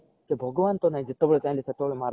ସେ ଭଗବାନ ଟା ନାଇ ଯେତେବେଳେ ଚାହିଲେ ସେତବେଳେ ମାରିଦବ